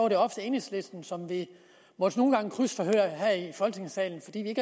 det ofte enhedslisten som vi måtte krydsforhøre her i folketingssalen fordi vi